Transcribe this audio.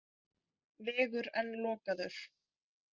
Vegur enn lokaður